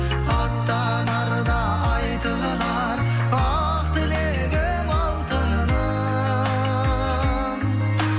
аттанарда айтылар ақ тілегім алтыным